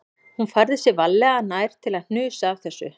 Hún færði sig varlega nær til að hnusa af þessu